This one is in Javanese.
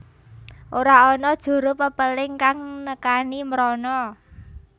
Ora ana juru pepéling kang nekani mrono